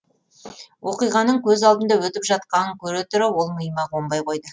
оқиғаның көз алдымда өтіп жатқанын көре тұра ол миыма қонбай қойды